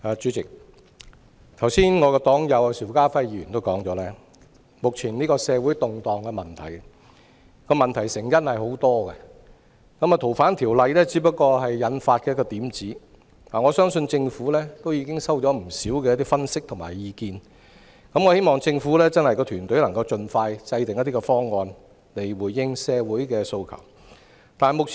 主席，我的黨友邵家輝議員剛才也指出，當前社會動盪的成因有很多，《2019年逃犯及刑事事宜相互法律協助法例條例草案》只是導火線而已，我相信政府已收到不少分析及意見，希望政府團隊能盡快制訂一些方案，以回應社會訴求。